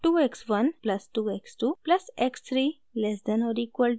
2 x 1 plus 2 x 2 plus x 3 less than और equal to 6